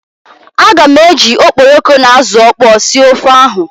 Aga m eji okporoko na azụ ọkpọọ sie ofe ahụ.